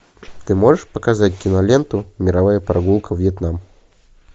ты можешь показать киноленту мировая прогулка вьетнам